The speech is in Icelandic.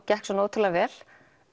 gekk svona ótrúlega vel